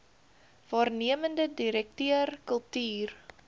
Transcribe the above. waarnemende direkteur kultuur